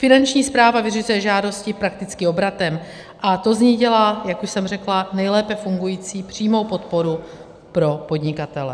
Finanční správa vyřizuje žádosti prakticky obratem a to z ní dělá, jak už jsem řekla, nejlépe fungující přímou podporu pro podnikatele.